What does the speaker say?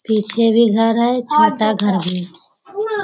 पीछे भी घर है छोटा घर भी है।